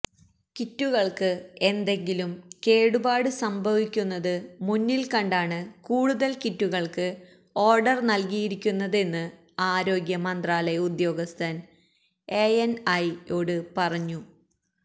കിറ്റുകള്ക്ക് എന്തെങ്കിലും കേടുപാട് സംഭവിക്കുന്നത് മുന്നില് കണ്ടാണ് കൂടുതല് കിറ്റുകള്ക്ക് ഓര്ഡര് നല്കിയിരിക്കുന്നതെന്ന് ആരോഗ്യ മന്ത്രാലയ ഉദ്യോഗസ്ഥന് എഎന്ഐയോട് പറഞ്ഞു